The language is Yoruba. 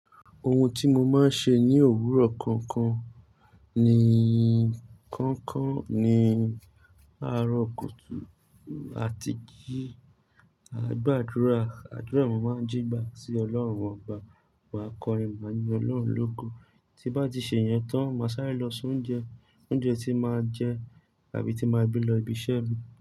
Ohun tí mo máa ń ṣe ní òwúrọ̀ kọ̀ọ̀kan ni kọ̀ọ̀kan ni ni aro kùtù a ti gbé, àgbàdúrà, àdúrà mi máa ń jí gba sí Ọlọ́run wa. Wà á kọrin, máa ń yin Ọlọ́run lógo. Tí bá ti ṣe ìyẹn tán, máa sáré lọ soun jẹ oúnjẹ tí màá jẹ àbí tí màá gbe lọ ibi iṣẹ́ mi.